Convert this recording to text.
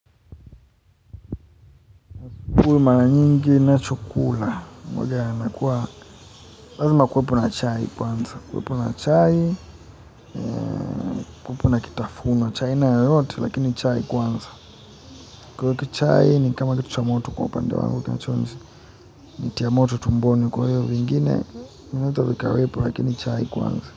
Huwa maranyingi ninachokula, uwaga nakuwa, lazima kuwepo na chai kwanza, kuwepo na chai, kuwepo na kitafunwa, cha aina yeyote lakini chai kwanza, kwa hiyo chai ni kama kitu cha moto kwa upande wangu, kinachoweza nitia moto tumboni, kwa hiyo vingine vinaweza vikawepo lakini chai kwanza.